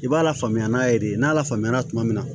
I b'a lafaamuya n'a ye de n'a lafaamuya tuma min na